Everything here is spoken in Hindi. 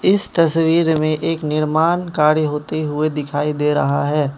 इस तस्वीर में एक निर्माण कार्य होते हुए दिखाई दे रहा है।